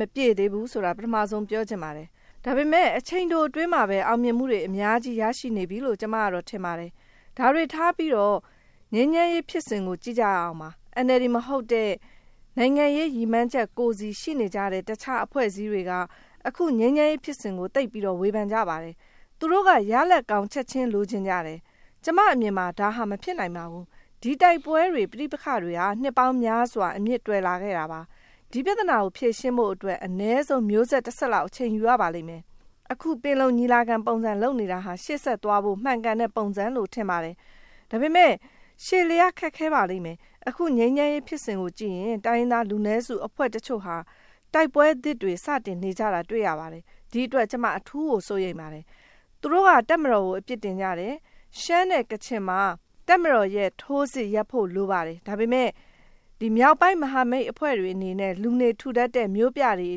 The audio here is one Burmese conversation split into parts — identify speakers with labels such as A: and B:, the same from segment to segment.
A: မပြည့်သေးဘူးဆိုတာ ပထမဦးဆုံး ပြောချင်ပါတယ်။ ဒါပေမဲ့ အချိန်တိုအတွင်းမှာပဲ အောင်မြင်မှုတွေ အများကြီး ရရှိနေပြီလို့ ကျမ ထင်ပါတယ်။ ဒါတွေထားပြီးတော့ ငြိမ်းချမ်းရေးဖြစ်စဉ်ကို ကြည့်ကြရအောင်ပါ။ NLD မဟုတ်တဲ့ နိုင်ငံရေး ရည်မှန်းချက်ကိုယ်စီ ရှိနေကြတဲ့ တခြားအဖွဲ့အစည်းတွေက ငြိမ်းချမ်းရေးဖြစ်စဉ်ကို သိပ်ပြီးတော့ ဝေဖန်ကြပါတယ်။ သူတို့က ရလဒ်ကောင်း ချက်ချင်းလိုချင်ကြတယ်။ ကျမအမြင်မှာ ဒါဟာ မဖြစ်နိုင်ပါဘူး။ ဒီတိုက်ပွဲတွေ၊ ပဋိပက္ခတွေဟာ နှစ်ပေါင်းများစွာ အမြစ်တွယ်လာခဲ့တာပါ။ ဒီပြဿနာကို ဖြေရှင်းဖို့အတွက် အနည်းဆုံး မျိုးဆက်တဆက်လောက် အချိန်ယူရပါလိမ့်မယ်။ အခု ပင်လုံညီလာခံ ပုံစံ လုပ်နေတာဟာ ရှေ့ဆက်သွားဖို့ မှန်ကန်တဲ့ပုံစံလို့ ထင်ပါတယ်။ ဒါပေမဲ့ ရှည်လျားခက်ခဲ့ပါလိမ့်မယ်။ အခု ငြိမ်းချမ်းရေးဖြစ်စဉ်ကို ကြည့်ရင် တိုင်းရင်းသားလူနည်းစု အဖွဲ့တချို့ဟာ တိုက်ပွဲသစ်တွေ စတင်နေကြတာ တွေ့ရပါတယ်။ ဒီအတွက် ကျမ အထူးကို စိုးရိမ်နေပါတယ်။ သူတို့က တပ်မတော်ကို အပြစ်တင်ကြတယ်။ ရှမ်းနဲ့ကချင်မှာ တပ်မတော်ရဲ့ ထိုးစစ်ရပ်ဖို့ လိုပါတယ်။ ဒါပေမဲ့ မြောက်ပိုင်းမဟာမိတ်အဖွဲ့တွေအနေနဲ့ လူနေထူထပ်တဲ့ မြို့ပြတွေ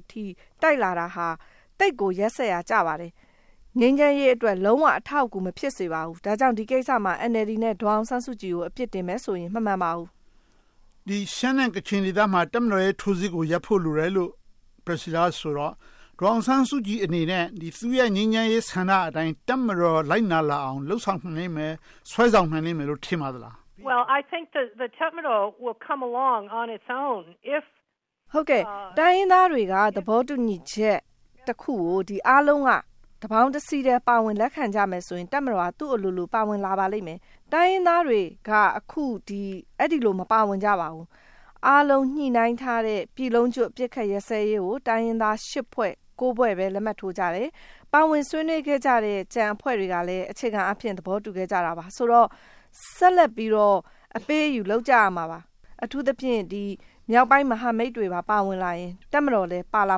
A: အထိ တိုက်လာတာဟာ သိပ်ကိုရက်စက်ရာ ကြပါတယ်။ ငြိမ်းချမ်းရေးအတွက် လုံးဝအထောက်အကူ မဖြစ်စေပါဘူး။ ဒါကြောင့် ဒီကိစ္စမှာ NLD နဲ့ ဒေါ်အောင်ဆန်းစုကြည်ကို အပြစ်တင်မယ်ဆိုရင် မမှန်ပါဘူး။
B: ရှမ်းနဲ့ကချင်ဒေသမှာ တပ်မတော်ရဲ့ ထိုးစစ်ကို ရပ်ဖို့လိုတယ်လို့ ဆိုတော့ ဒေါ်အောင်ဆန်းစုကြည်အနေနဲ့ သူ့ရဲ့ ငြိမ်းချမ်းရေးဆန္ဒအတိုင်း တပ်မတော်က လိုက်နာလာအောင် လုပ်ဆောင်နိုင်မယ်၊ ဆွဲဆောင်နိုင်မယ်လို့ ထင်ပါသလား။
A: တိုင်းရင်းသားတွေက သဘောတူညီချက်တခုကို အားလုံးက တပေါင်းတစည်းထဲ ပါဝင်လက်ခံကြမယ်ဆိုရင် တပ်မတော်က သူ့အလိုလို ပါဝင်လာပါလိမ့်မယ်။ တိုင်းရင်းသားတွေက အခု အဲဒီလို မပါဝင်ကြပါဘူး။ အားလုံး ညှိနှိုင်းထားတဲ့ ပြည်လုံးကျွတ် အပစ်အခတ်ရပ်စဲရေးကို တိုင်းရင်းသား ဖွဲ့ ဖွဲ့ပဲ လက်မှတ်ထိုးကြတယ်။ ပါဝင်ဆွေးနွေးကြတဲ့ ကျန်အဖွဲ့တွေကလည်း အခြေခံအားဖြင့် သဘောတူခဲ့ကြတာပါ။ ဆိုတော့ ဆက်လက်ပြီးတော့ အပေးအယူ လုပ်ကြရမှာပါ။ အထူးသဖြင့် မြောက်ပိုင်းမဟာမိတ်တွေပါ ပါဝင်လာရင် တပ်မတော်လည်း ပါလာ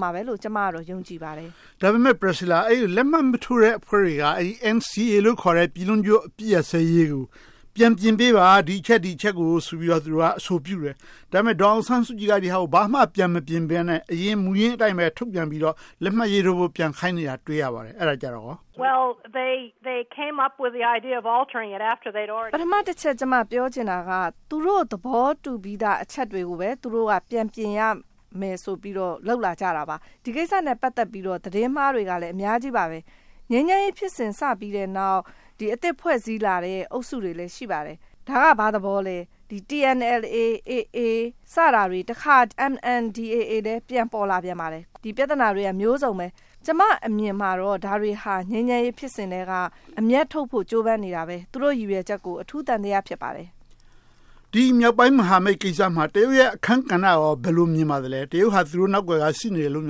A: မယ်လို့ ကျမ ယုံကြည်ပါတယ်။
B: ဒါပေမဲ့ လက်မှတ်မထိုးတဲ့ အဖွဲ့တွေက NCA လို့ ခေါ်တဲ့ ပြည်လုံးကျွတ်အပစ်ရပ်စဲရေးကို ပြန်ပြင်ပေးပါ။ ဒီအချက် ဒီအချက်တွေကိုဆိုပြီး အဆိုပြုတယ်။ ဒါပေမဲ့ ဒေါ်အောင်ဆန်းစုကြည်က ဒီဟာကို ဘာမှပြန်မပြင်ဘဲနဲ့။ မူရင်းအတိုင်းပဲ ထုတ်ပြန်ပြီးတော့ လက်မှတ်ရေးထိုးဖို့ ပြန်ခိုင်းနေတာကို တွေ့ရပါတယ်။ အဲဒါကြတော့ကော။
A: ပထမတချက် ပြောချင်တာက သူတို့ သဘောတူပြီးသာ အချက်တွေကိုပဲ သူတို့က ပြန်ပြင်ရမယ်ဆိုပြီးတော့ လုပ်လာကြတာပါ။ ဒီကိစ္စနဲ့ ပတ်သက်ပြီး သတင်းမှားတွေကလည်း အများကြီးပါ။ ငြိမ်းချမ်းရေးဖြစ်စဉ် စပြီးတဲ့နောက် အသစ်ဖွဲ့စည်းလာတဲ့ အုပ်စုတွေလည်း ရှိပါတယ်။ ဒါက ဘာသဘောလဲ။ TNLA, AA စတာတွေ တခါ MMDAA လည်း ပြန်ပေါ်လာပြန်ပါတယ်။ ဒီပြဿနာတွေ အမျိုးစုံပဲ။ ကျမအမြင်မှာတော့ ငြိမ်းချမ်းရေးဖြစ်စဉ်ထဲက အမြတ်ထုတ်ဖို့ ကြိုးပမ်းနေတာပဲ။ သူတို့ ရည်ရွယ်ချက်ကို အထူးသံသယ ဖြစ်ပါတယ်။
B: ဒီမြောက်ပိုင်းမဟာမိတ်ကိစ္စမှာ တရုတ်ရဲ့ အခန်းကဏ္ဍကို ဘယ်လို မြင်ပါလဲ။ တရုတ်ဟာ သူတို့နောက်ကွယ်က ရှိနေတယ်လို့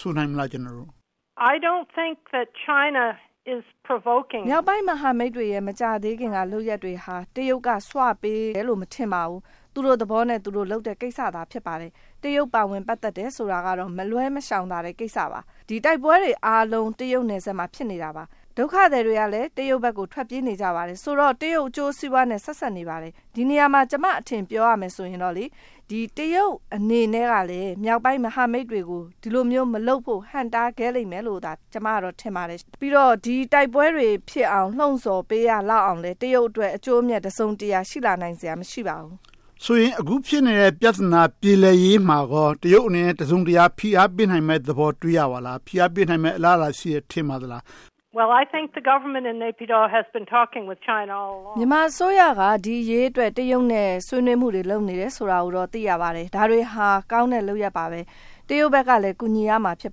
B: ဆိုနိုင်မလား။
A: မြောက်ပိုင်းမဟာမိတ်တွေရဲ့ မကြာသေးခင်က လုပ်ရပ်တွေဟာ တရုတ်က ဆွပေးတယ်လို့ မထင်ပါဘူး။ သူတို့သဘောနဲ့ သူတို့လုပ်တဲ့ကိစ္စ ဖြစ်ပါတယ်။ တရုတ် ပါဝင်ပတ်သက်တယ်ဆိုတာကတော့ မလွယ်မရှောင်သာတဲ့ ကိစ္စပါ။ တိုက်ပွဲတွေအားလုံး တရုတ်နယ်စပ်မှာ ဖြစ်နေတာပါ။ ဒုက္ခသည်အားလုံး တရုတ်ဘက်ကို ထွက်ပြေးနေကြပါတယ်။ ဆိုတော့ တရုတ်အကျိုးစီးပွားနဲ့ ဆက်စပ်နေပါတယ်။ ဒီနေရာမှာ ကျမအထင် ပြောရရင်တော့ တရုတ်အနေနဲ့ကလဲ မြောက်ပိုင်းမဟာမိတ်တွေကို ဒီလိုမျိုး မလုပ်ဖို့ ဟန့်တားခဲ့မယ်လို့ ကျမက ထင်ပါတယ်။ ပြီးတော့ ဒီတိုက်ပွဲတွေဖြစ်အောင် လုပ်ဆော်ပေးရလောက်အောင်လည်း တရုတ်အတွက် အကျိုးအမြတ် တစုံတရာ ရှိလာနိုင်စရာ မရှိပါဘူး။
B: ဆိုရင် အခု ဖြစ်နေတဲ့ ပြဿနာ ပြေလည်ရေးမှာ တရုတ်အနေနဲ့ တစုံတရာ ဖိအားပေးနိုင်မယ့်သဘော တွေ့ရပါသလား။ ဖိအားပေးနိုင်မယ့် အလားအလာ ရှိတယ် ထင်ပါသလား။
A: မြန်မာအစိုးရက ဒီအရေးအတွက် တရုတ်နဲ့ ဆွေးနွေးမှုတွေ လုပ်နေတယ်ဆိုတာကိုတော့ သိရပါတယ်။ ဒါတွေဟာ ကောင်းတဲ့လုပ်ရပ်ပါ။ တရုတ်ဘက်ကလည်း ကူညီရမှာ ဖြစ်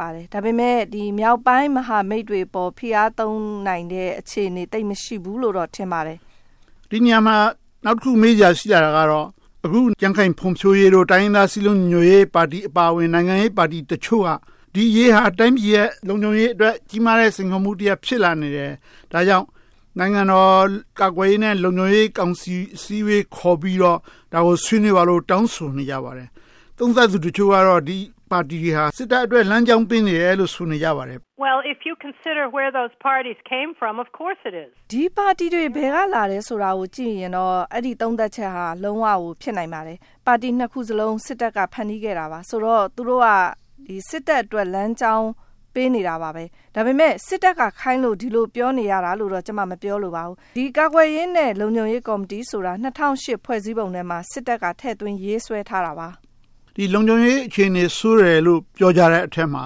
A: ပါတယ်။ ဒါပေမဲ့ မြောက်ပိုင်းမဟာမိတ်တွေအပေါ် ဖိအားသုံးနိုင်တဲ့ အခြေအနေ သိပ်မရှိဘူးလို့ ထင်ပါတယ်။
B: ဒီနေရာမှာ နောက်တခု မေးစရာရှိတာကတော့ ကြံ့ခိုင်ဖွံ့ဖြိုးရေး၊ တိုင်းရင်းသားစည်းလုံးညီညွှတ်ရေးပါတီ အပါအဝင် နိုင်ငံရေးပါတီတချို့က ဒီအရေးဟာ တိုင်းပြည်ရဲ့ လုံခြုံရေးအတွက် ကြီးမားတဲ့ စိန်ခေါ်မှုတရပ် ဖြစ်လာနေတယ်။ ဒါကြောင့် နိုင်ငံတော်ကာကွယ်ရေးနဲ့ လုံခြုံရေးကောင်စီ အစည်းအဝေး ခေါ်ပြီးတော့ ဆွေးနွေးဖို့ တောင်းဆိုနေပါတယ်။ သုံးသပ်သူတချို့ကတော့ ဒီပါတီတွေဟာ စစ်တပ်အတွက် လမ်းကြောင်းပေးနေတယ်လို့ ဆိုနေကြပါတယ်။
A: ဒီပါတီတွေ ဘယ်ကလာတယ်ဆိုတာကို ကြည့်ရင်တော့ အဲဒီသုံးသပ်ချက်ဟာ လုံးဝကို ဖြစ်နိုင်ပါတယ်။ ပါတီနှစ်ခုစလုံး စစ်တပ်က ဖန်တီးခဲ့တာပါ။ ဆိုတော့ သူတို့က စစ်တပ်အတွက် လမ်းကြောင်းပေးနေတာပဲ။ ဒါပေမဲ့ စစ်တပ်ကခိုင်းလို့ ဒီလို ပြောနေရတာလို့ ကျမ မပြောလိုပါဘူး။ ကာကွယ်ရေးနဲ့ လုံခြုံရေးကော်မတီဆိုတာ ၂၀၀၈ ဖွဲ့စည်းပုံထဲမှာ စစ်တပ်က ထည့်သွင်းရေးဆွဲထားတာပါ။
B: လုံခြုံရေးအခြေအနေ ဆိုးတယ်လို့ ပြောကြတဲ့အထဲမှာ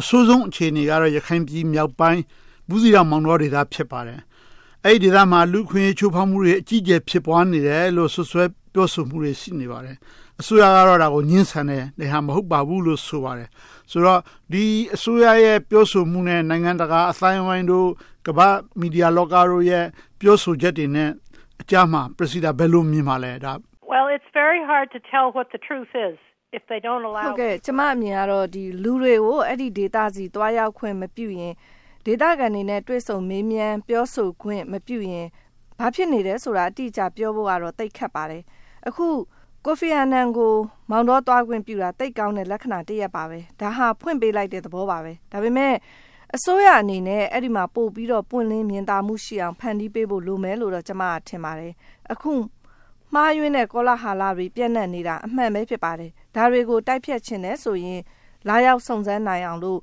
B: အဆိုးဆုံးအခြေအနေကတော့ ရခိုင်ပြည်မြောက်ပိုင်း ဘူးသီးတောင်၊ မောင်းတောဒေသ ဖြစ်ပါတယ်။ အဲဒီဒေသမှာ လူ့အခွင့်အရေး ချိုးဖောက်မှုတွေ အကြီးအကျယ် ဖြစ်ပွားနေတယ်ဆိုတဲ့ စွပ်စွဲပြောဆိုမှုတွေ ရှိနေပါတယ်။ အစိုးရက ဒါကို ငြင်းဆန်တယ်။ ဒီဟာ မဟုတ်ပါဘူးလို့ ဆိုပါတယ်။ ဆိုတော့ ဒီအစိုးရရဲ့ ပြောဆိုမှုနဲ့ နိုင်ငံတာက အသိုင်းအဝိုင်းတို့ ကမ္ဘာ့မီဒီယာလောကတို့ရဲ့ ပြောဆိုချက်တွေနဲ့အကြား ဘယ်လို မြင်ပါလဲ။
A: ကျမအမြင်ကတော့ လူတွေကို အဲဒီဒေသ သွားရောက်ခွင့်မပြုရင် ဒေသခံတွေနဲ့ တွေ့ဆုံမေးမြန်းခွင့် မပြုရင် ဘာဖြစ်နေတယ်လို့ ပြောဖို့ သိပ်ခက်ပါတယ်။ အခု ကိုဖီအာနန် ကို မောင်းတောသွားခွင့်ပြုတာ သိပ်ကောင်းတဲ့ လက္ခဏာတရပ်ပါ။ ဒါဟာ ဖွင့်ပေးလိုက်တဲ့ သဘောပါ။ ဒါပေမဲ့ အစိုးရအနေနဲ့ အဲဒီမှာ ပိုပြီးတော့ ပွင့်လင်းမြင်သာမှုရှိအောင် ဖန်တီးပေးဖို့ လိုမယ်လို့ ကျမက ထင်ပါတယ်။ အခုမှားယွင်းတဲ့ ကောလဟာလတွေ ပျံ့နှံ့နေတာ အမှန်ပဲ ဖြစ်ပါတယ်။ ဒါတွေကို တိုက်ဖျက်ချင်တယ်ဆိုရင် လာရောက်စုံစမ်းနိုင်အောင်လို့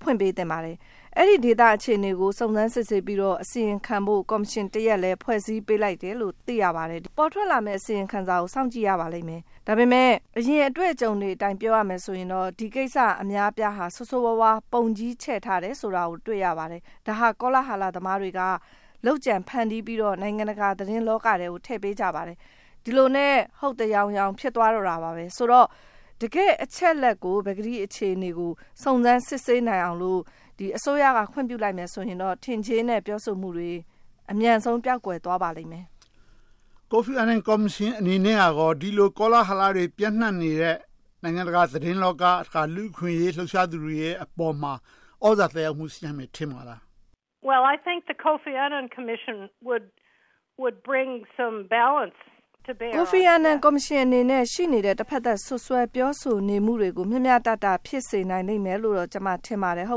A: ဖွင့်ပေးသင့်ပါတယ်။ အဲဒီဒေသ အခြေအနေကို စုံစမ်းစစ်ဆေးပြီးတော့ အစီရင်ခံဖို့ ကော်မရှင်တရပ်လည်း ဖွဲ့စည်းပေးလိုက်တယ်လို့ သိရပါတယ်။ ပေါ်ထွက်လာမယ့် အစီရင်ခံစာကို စောင့်ကြည့်ရပါလိမ့်မယ်။ ဒါပေမဲ့ အရင်အတွေ့အကြုံတွေအတိုင်း ပြောရမယ်ဆိုရင်တော့ ဒီကိစ္စ အများအပြားဟာ ဆိုးဆိုးဝါးဝါး ပုံကြီးချဲ့ထားတယ်ဆိုတာကို တွေ့ရပါတယ်။ ဒါဟာ ကောလဟာလသမားတွေက လုပ်ကြံဖန်တီပြီးတော့ နိုင်ငံတကာသတင်းလောကထဲကို ထည့်ပေးကြပါတယ်။ ဒီလိုနဲ့ ဟုတ်သယောင်ယောင် ဖြစ်သွားတော့တယ်။ ဆိုတော့ တကယ့်အချက်အလက်ကို၊ ပကတိ အခြေအနေကို စုံစမ်းစစ်ဆေးနိုင်အောင်လို့ အစိုးရက ခွင့်ပြုလိုက်မယ်ဆိုရင်တော့ ထင်ကြေးနဲ့ ပြောဆိုမှုတွေ အမြန်ဆုံး ပျောက်ကွယ်သွားပါလိမ့်မယ်။
B: ကိုဖီအာနန် ကော်မရှင်အနေနဲ့ ဒီလို ကောလဟာလတွေ ပျံ့နံှ့နေတဲ့ နိုင်ငံတကာ သတင်းလောက က လူ့အခွင့်အရေး လှုပ်ရှားသူတွေရဲ့ အပေါ်မှာ သြဇာသက်ရောက်မှု ရှိနိုင်မယ် ထင်ပါလား။
A: ကိုဖီအာနန် ကော်မရှင်အနေနဲ့ ရှိနေတဲ့ တဘက်သတ် စွပ်စွဲပြောဆိုချက်တွေကို မျှမျှတတ ဖြစ်စေနိုင်လိမ့်မယ်လို့ ကျမ ထင်ပါတယ်။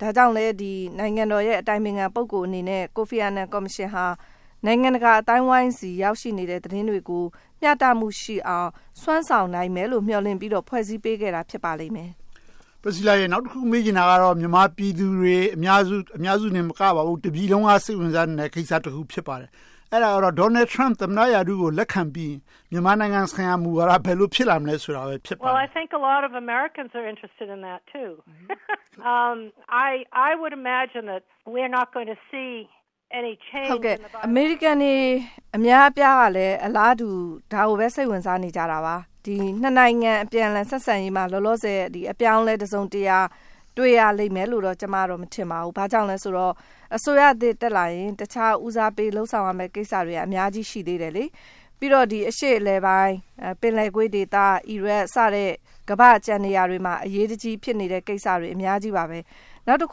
A: ဒါကြောင့်လဲ နိုင်ငံတော်ရဲ့ အတိုင်ပင်ခံ ပုဂ္ဂိုလ် အနေနဲ့ ကိုဖီအာနန် ကော်မရှင်ဟာ နိုင်ငံတကာအသိုင်းအဝိုင်းဆီ ရောက်ရှိနေတဲ့ သတင်းတွေကို မျှတမှုရှိအောင် စွမ်းဆောင်နိုင်မယ်လို့ မျှော်လင့်ပြီးတော့ ဖွဲ့စည်းပေးခဲ့တာ ဖြစ်ပါလိမ့်မယ်။
B: နောက်တခု မေးချင်တာက မြန်မာပြည်သူတွေ အများစုတင်မကဘူး၊ တပြည်လုံးက စိတ်ဝင်စားနေတဲ့ ကိစ္စတခု ဖြစ်ပါတယ်။ အဲဒါကတော့ Donald Trump က သမ္မတရာထူး လက်ခံပြီး၊ မြန်မာနိုင်ငံဆိုင်ရာ မူဝါဒ ဘယ်လို ဖြစ်လာနိုင်မလဲဆိုတာ ဖြစ်ပါတယ်။
A: အမေရိကန် အများအပြားကလည်း အလားတူ ဒါကိုပဲ စိတ်ဝင်စားနေကြတာပါ။ နှစ်နိုင်ငံ အပြန်အလှန် ဆက်ဆံရေးမှာ လောလောဆယ် အပြောင်းအလဲ တစုံတရာ တွေ့ရလိမ့်မယ်လို့ ကျမ က မထင်ပါဘူး။ ဘာကြောင့်လဲဆိုတော့ အစိုးရသစ် တက်လာရင် ပထမဦးစားပေး လုပ်ဆောင်ရမယ့် ကိစ္စတွေက အများကြီးပါ။ ပြီးတော့ အရှေ့အလယ်ပိုင်း၊ ပင်လယ်ကွေ့ဒေသ၊ အီရတ် စတဲ့ ကမ္ဘာ့ကျန်နေရာတွေမှာ အရေးတကြီး ဖြစ်နေတဲ့ကိစ္စတွေ အများကြီးပါ။ နောက်တ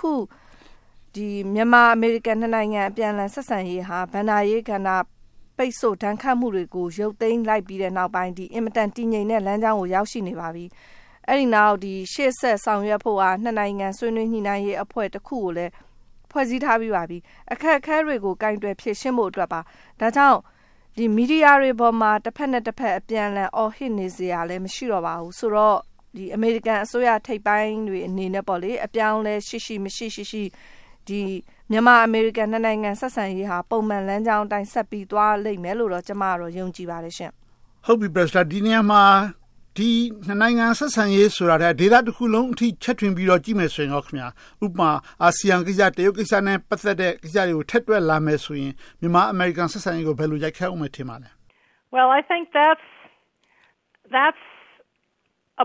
A: ခု မြန်မာ-အမေရိကန် နှစ်နိုင်ငံ အပြန်အလှန် ဆက်ဆံရေးဟာ ဘဏ္ဍာရေးကဏ္ဍ၊ ပိတ်စို့ဒဏ်ခတ်မှုတွေကို ရုတ်သိမ်းလိုက်ပြီးနောက်ပိုင်း အင်မတန် တည်ငြိမ်တဲ့လမ်းကြောင်းကို ရောက်ရှိနေပါပြီ။ အဲဒီနောက် ရှေ့ဆက်ဆောင်ရွက်ဖို့ နှစ်နိုင်ငံ ဆွေးနွေးညှိနှိုင်းရေးအဖွဲ့ကိုလည်း ဖွဲ့စည်းထားပြီးပါပြီ။ အခက်အခဲတွေကို ကိုင်တွယ်ဖြေရှင်းဖို့ပါ။ ဒါကြောင့် မီဒီယာတွေအပေါ်မှာ တဘက်နဲ့တဘက် အပြန်အလှန် အော်ဟစ်နေစရာလည်း မရှိတော့ပါဘူး။ ဆိုတော့ အမေရိကန်အစိုးရထိပ်ပိုင်းတွေ အနေနဲ့ အပြောင်းအလဲ ရှိရှိမရှိရှိ မြန်မာ-အမေရိကန် နှစ်နိုင်ငံ ဆက်ဆံရေးဟာ ပုံမှန်လမ်းကြောင်းအတိုင်း ဆက်သွားလိမ့်မယ်လို့ ကျမကတော့ ယုံကြည်ပါတယ်။
B: ဒီနေရာမှာ နှစ်နိုင်ငံဆက်ဆံရေး ဆိုတာထက် ဒေသတခုလုံးအထိ ချဲ့ထွင်ပြီးတော့ ကြည့်မယ်ဆိုရင်ကော။ ဥပမာ အာဆီယံကိစ္စ၊ တရုတ်ကိစ္စနဲ့ ပတ်သက်တဲ့ ကိစ္စတွေကို ထည့်တွက်လာမယ်ဆိုရင် မြန်မာ-အမေရိကန် ဆက်ဆံရေးကို ဘယ်လို ရိုက်ခတ်အုံးမယ် ထင်ပါလဲ။
A: ဒါကတော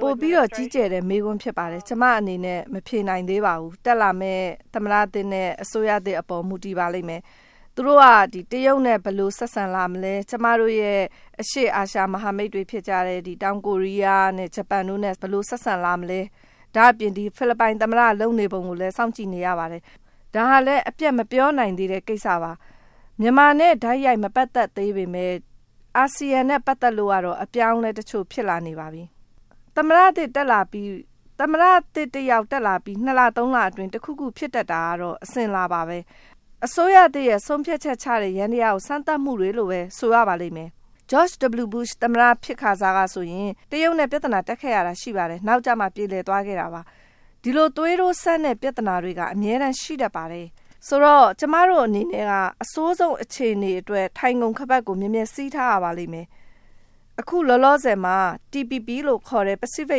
A: ့ ပိုပြီးတော့ ကြီးကျယ်တဲ့ မေးခွန်း ဖြစ်ပါတယ်။ ကျမအနေနဲ့ မဖြေနိုင်သေးပါဘူး။ တက်လာတဲ့ သမ္မတသစ်နဲ့ အစိုးရသစ်အပေါ် မူတည်ပါလိမ့်မယ်။ သူတို့က တရုတ်နဲ့ ဘယ်လို ဆက်ဆံလာမလဲ။ ကျမတို့ရဲ့ အရှေ့အာရှ မဟာမိတ်တွေ ဖြစ်ကြတဲ့ တောင်ကိုရီးယား၊ ဂျပန်တို့နဲ့ ဘယ်လို ဆက်ဆံလာမလဲ။ ဒါ့အပြင် ဖိလစ်ပိုင်သမ္မတ လုပ်နေပုံကိုလဲ စောင့်ကြည့်နေရပါတယ်။ ဒါကလဲ အပြတ်မပြောနိုင်သေးတဲ့ ကိစ္စပါ။ မြန်မာနဲ့ တိုက်ရိုက်မပတ်သက်သေးပေမယ့် အာဆီယံနဲ့ ပတ်သက်လို့ကတော့ အပြောင်းအလဲတချို့ ဖြစ်လာနေပါပြီ။ သမ္မတသစ် တက်လာပြီး လ လအတွင်း တခုခု ဖြစ်တတ်တာကတော့ အစဉ်အလာပါပဲ။ အစိုးရသစ်ရဲ့ ဆုံးဖြတ်ချက်ချတဲ့ ယန္တရားကို စမ်းသပ်မှုတွေလိုပဲ ဆိုရပါလိမ့်မယ်။ George W. Bush သမ္မတ ဖြစ်ခါစကဆိုရင် တရုတ်နဲ့ ပြဿနာ တက်ခဲ့ရတာ ရှိပါတယ်။ နောက်ကျမှ ပြေလည်သွားရတာပါ။ ဒီလို သွေးတိုးစမ်းတဲ့ ပြဿနာတွေက အမြဲတမ်း ရှိတတ်ပါတယ်။ ဆိုတော့ ကျမတို့အနေနဲ့က အဆိုးဆုံးအခြေအနေအတွက် ထိုင်ခုံခါးပတ်ကို မြဲမြဲစည်းထားရပါလိမ့်မယ်။ အခုလောလောဆယ်မှာ TPP လို့ခေါ်တဲ့ ပစ္စီဖိ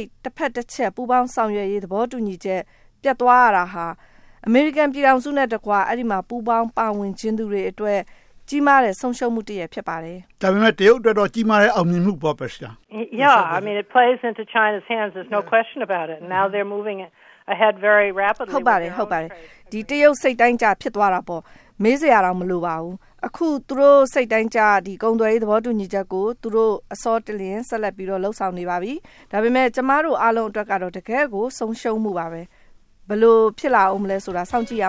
A: တ် တဘက်တချက် ပူးပေါင်းဆောင်ရွက်ရေး သဘောတူညီချက် ပျက်သွားရတာဟာ အမေရိကန်ပြည်ထောင်စုနဲ့တကွ အဲဒီမှာ ပူးပေါင်းပါဝင်ချင်သူတွေအတွက် ကြီးမားတဲ့ ဆုံးရှုံးမှုတရပ် ဖြစ်ပါတယ်။
B: ဒါပေမဲ့ တရုတ်အတွက်တော့ ကြီးမားတဲ့ အောင်မြင်မှုပေါ့။
A: ဟုတ်ပါတယ်။ တရုတ် စိတ်တိုင်းကျ ဖြစ်သွားတာပေါ့။ မေးစရာတောင် မလိုပါဘူး။ အခု သူတို့စိတ်တိုင်းကျ ကုန်သွယ်ရေး သဘောတူညီချက်ကို သူတို့ အစောတလင် ဆက်လုပ်ပြီး လုပ်ဆောင်နေပါပြီ။ ဒါပေမဲ့ ကျမတို့အားလုံးအတွက်ကတော့ တကယ့်ကို ဆုံးရှုံးမှုပါ။ ဘယ်လို ဖြစ်လာမလဲဆိုတာတော့ စောင့်ကြည့်ရ